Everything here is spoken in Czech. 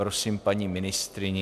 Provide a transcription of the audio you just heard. Prosím paní ministryni.